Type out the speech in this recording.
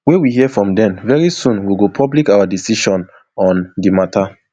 wey we hear from dem very soon we go public our decision on di mata